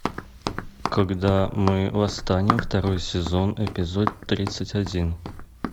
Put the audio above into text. когда мы восстанем второй сезон эпизод тридцать один